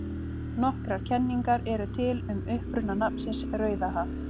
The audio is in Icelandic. Nokkrar kenningar eru til um uppruna nafnsins Rauðahaf.